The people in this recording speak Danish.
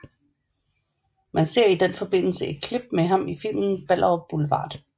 Man ser i den forbindelse et klip med ham i filmen Ballerup Boulevard